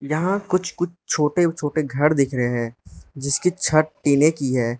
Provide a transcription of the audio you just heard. यहां कुछ कुछ छोटे छोटे घर देख रहे हैं जिसकी छत टिने की है।